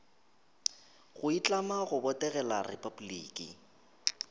go itlama go botegela repabliki